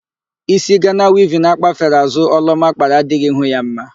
Ísí Gana wivin akpafere àzụ́ Ọlụọma kpara adỊghỊ ihu ya mma.